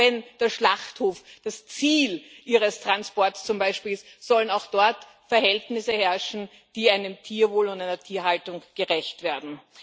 Auch wenn der Schlachthof das Ziel ihres Transports ist, sollen auch dort Verhältnisse herrschen, die einem Tierwohl und einer Tierhaltung gerecht werden.